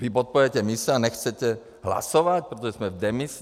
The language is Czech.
Vy podporujete mise a nechcete hlasovat, protože jsme v demisi?